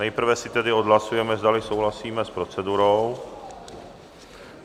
Nejprve si tedy odhlasujeme, zdali souhlasíme s procedurou.